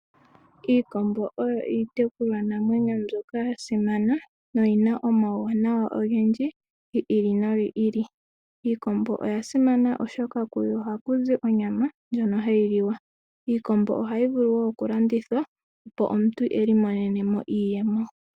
Iikombo oyo iitekulwa namwenyo mbyoka yasimana no yina omauwanawa ogendji giili no giili. Iikombo oyasimana, oshoka kuyo oha kuzi onyama ndjono hayi liwa. Iikombo ohayi vulu woo okulandithwa opo omuntu iimonene iiyemo.